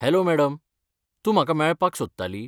Hello madam, तूं म्हाका मेळपाक सोदताली?